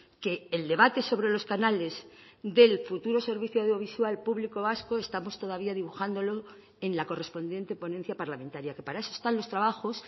que el debate sobre los canales del futuro servicio audiovisual público vasco estamos todavía dibujándolo en la correspondiente ponencia parlamentaria que para eso están los trabajos